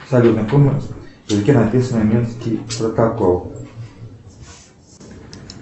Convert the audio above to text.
салют на каком языке написан минский протокол